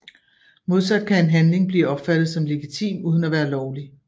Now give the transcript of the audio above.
Modsat kan en handling blive opfattet som legitim uden at være lovlig